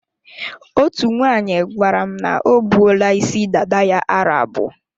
Otú nwaanyị gwara m na o buola isi dada ya aro abụọ.